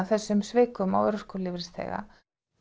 þessum svikum á örorkulífeyrisþega